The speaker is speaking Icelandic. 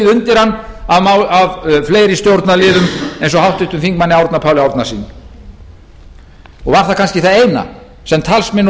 undir hann af fleiri stjórnarliðum eins og háttvirtum þingmanni árna páli árnasyni og var það kannski það eina sem talsmenn